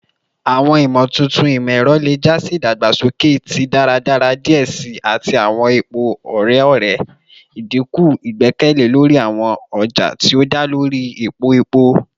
Awọn imotuntun imọ-ẹrọ le ja si idagbasoke ti daradara diẹ sii ati awọn epo ore-ọrẹ, idinku igbẹkẹle lori awọn ọja ti o da lori epo epo.